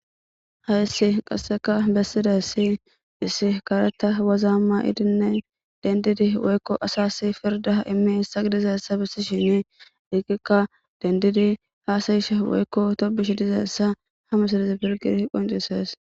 hayssi qasseka bessidaysi issi kareta wazaa ma7idinne dendidi woykko asasi pirda immiyaysa gidizeyissa bissishini dikikka dendidi haasayishe woykko tobishe dizayissa hamisilezi pilgidi qoncises